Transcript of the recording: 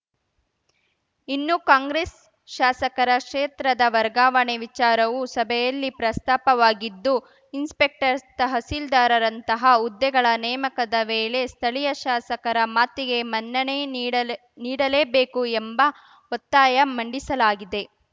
ಇನ್ನು ಕಾಂಗ್ರೆಸ್‌ ಶಾಸಕರ ಕ್ಷೇತ್ರದ ವರ್ಗಾವಣೆ ವಿಚಾರವು ಸಭೆಯಲ್ಲಿ ಪ್ರಸ್ತಾಪವಾಗಿದ್ದು ಇನ್ಸ್‌ಪೆಕ್ಟರ್‌ ತಹಶೀಲ್ದಾರ್‌ರಂತಹ ಹುದ್ದೆಗಳ ನೇಮಕದ ವೇಳೆ ಸ್ಥಳೀಯ ಶಾಸಕರ ಮಾತಿಗೆ ಮನ್ನಣೆ ನೀಡಲೇನೀಡಲೇಬೇಕು ಎಂಬ ಒತ್ತಾಯ ಮಂಡಿಸಲಾಗಿದೆ